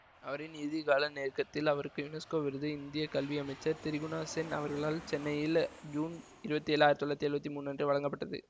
அவரின் இறுதி கால நெருக்கத்தில் அவருக்கு யுனஸ்கோ விருது இந்திய கல்வி அமைச்சர் திரிகுனா சென் அவர்களால் சென்னையில் ஜூன் இருபத்தி ஏழு ஆயிரத்தி தொள்ளாயிரத்தி எழுவத்தி மூன்று அன்று வழங்கப்பட்டது